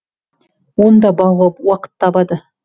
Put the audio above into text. оны да бағуға уақыт табады